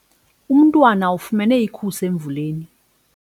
Umntwana ufumene ikhusi emvuleni.